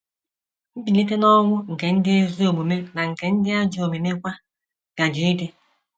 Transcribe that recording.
“ Mbilite n’ọnwụ nke ndị ezi omume na nke ndị ajọ omume kwa gaje ịdị. ”